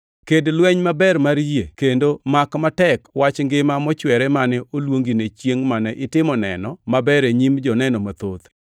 Ked lweny maber mar yie, kendo mak matek wach ngima mochwere mane oluongine chiengʼ mane itimo neno maber e nyim joneno mathoth.